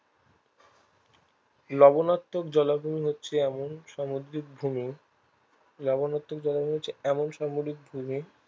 লবনাত্মক জলাভূমি হচ্ছে এমন সামুদ্রিক ভূমি লবনাত্মক জলাভূমি হচ্ছে এমন সামুদ্রিক ভূমি